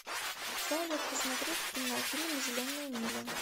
салют посмотреть кинофильм зеленая миля